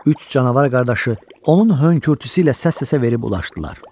Üç canavar qardaşı onun hönkürtüsü ilə səs-səsə verib ulaşırdılar.